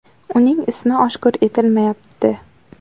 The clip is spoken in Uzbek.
Uning ismi oshkor etilmayapti.